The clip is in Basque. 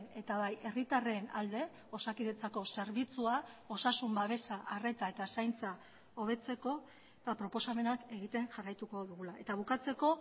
eta bai herritarren alde osakidetzako zerbitzua osasun babesa arreta eta zaintza hobetzeko proposamenak egiten jarraituko dugula eta bukatzeko